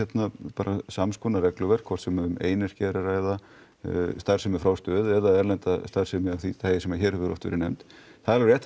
bara samskonar relgur hvort sem um einyrkja er að ræða starfsemi frá stöð eða erlenda starfsemi sem hér hefur oft verið nefnd því